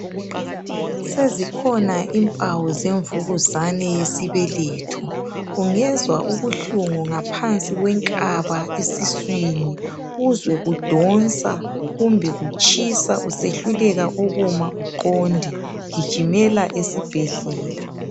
Sezikhona impawu zemvukuzane yesibeletho. Ungezwa ubuhlungu ngaphansi kwenkaba esiswini, uzwe kudonsa kumbe kutshisa usehluleka ukuma uqonde gijimela esibhedlela